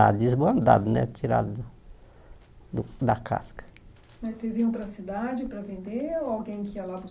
Já desbandado né tirado do da casca Mas vocês iam para a cidade para vender ou alguém que ia lá